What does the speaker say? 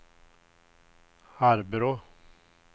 Arbrå